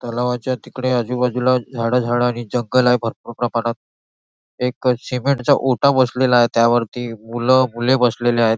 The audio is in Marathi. तलावाच्या तिकडे आजूबाजूला झाड झाड आणि जंगल आहे भरपूर प्रमाणात एकच सिमेंटचा ओटा वसलेला आहे त्यावरती मुलं मुले आहे बसलेले आहेत.